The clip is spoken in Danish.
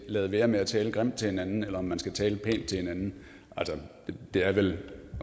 lade være med at tale grimt til hinanden eller om man skal tale pænt til hinanden er vel